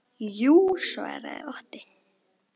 Jú, svaraði Otti.